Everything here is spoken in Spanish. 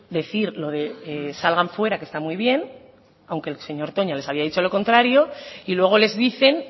decir lo de salgan fuera que está muy bien aunque el señor toña les había dicho lo contrario y luego les dicen